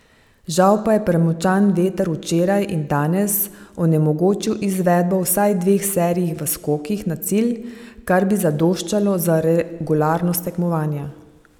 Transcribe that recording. Žal pa je premočan veter včeraj in danes onemogočil izvedbo vsaj dveh serij v skokih na cilj, kar bi zadoščalo za regularnost tekmovanja.